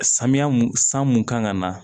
Samiya mun san mun kan ka na